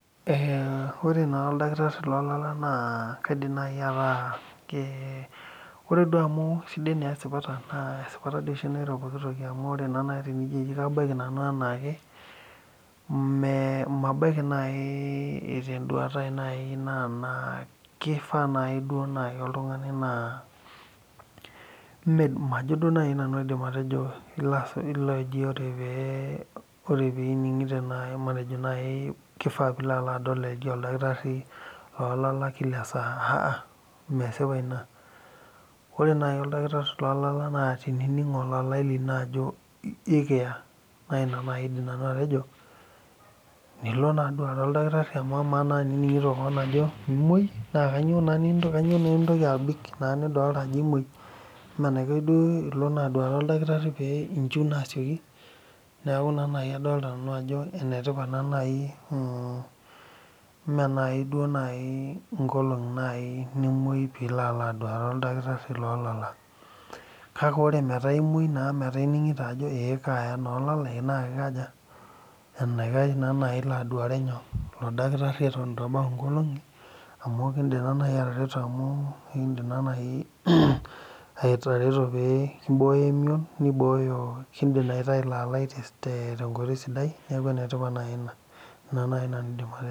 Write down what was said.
Eeh ore naaji oldakitari loolala naa kaidim atejo ore duo amu sidai esipata naa esipata doi nairo pooki toki amu tenijio naaji kabaiki nanu enaake mmee mabaiki naaji tenduata aai naa keifaa duo naaji oltung'ani naa majo duo nanu aidip atejo ore peeining'ito naaji matejo naaji keifaa peilo adol oldakiri loolala kila esaa ahah mesipa ina ore naaji okirtari loolala ining olalae lino ajo ekiya naa ina naaji aidim nanu atejo nilo naa adol orkitari amaa naa tenining'ito kewon ajo imuoi naa kanyioo naa intoki abik naa nidolita ajo imuoi eme enaikash duo ilo aduare orkitari pee inchiu naaa sioki neeku ina naaji adolita nanu ajo meenaajiduo inkolong'i nimuoi peeilo aaloo aduare orkitari loolala kake ore ining'ito naa. Ajo ore amu kaaya olalae naa enaikash naaji ilo aaduare nyoo oldakitari eton eitu ebau inkolong'i amu kindim naaji atareto amu pee imbooyo emion neibooyo kindim aitayu ilo alae tenkoitoi sidai neeku enetipat naaji ina inaa naaji nanu aidim atejo.